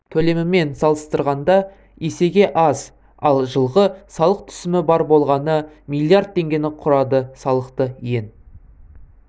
төлемімен салыстырғанда есеге аз ал жылғы салық түсімі бар болғаны миллиард теңгені құрады салықты ең